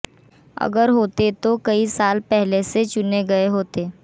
अगर होते तो कई साल पहले से चुने गए होते